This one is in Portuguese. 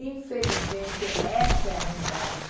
Infelizmente, essa é a realidade.